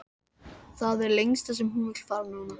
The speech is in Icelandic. Það er það lengsta sem hún vill fara núna.